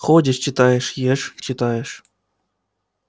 ходишь читаешь ешь читаешь